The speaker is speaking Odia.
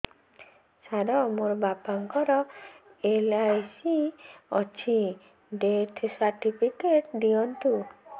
ସାର ମୋର ବାପା ଙ୍କର ଏଲ.ଆଇ.ସି ଅଛି ଡେଥ ସର୍ଟିଫିକେଟ ଦିଅନ୍ତୁ